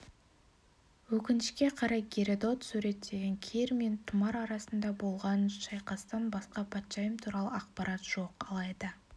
өкінішке қарай геродот суреттеген кир мен тұмар арасында болған шайқастан басқа патшайым туралы ақпарат жоқ алайда